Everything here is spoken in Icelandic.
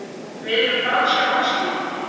Við erum franska landsliðið.